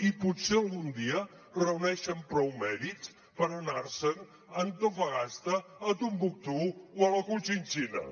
i potser algun dia reuneixen prou mèrits per anar se’n a antofagasta a timbuctú o a la contxinxina